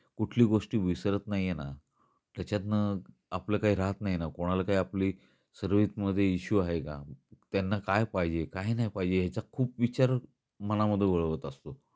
कुठली गोष्टी विसरत नाही आहेना, त्याचतन आपल काही राहत नाही ना, कुणाला काही आपली सर्विस मध्ये इशू आहे का, त्यांना काय पाहिजे काही नाही पाहिजे याचा खूप विचार मना मध्ये वळवत असतो.